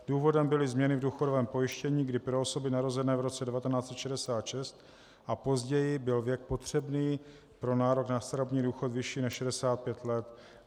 Důvodem byly změny v důchodovém pojištění, kdy pro osoby narozené v roce 1966 a později byl věk potřebný pro nárok na starobní důchod vyšší než 65 let.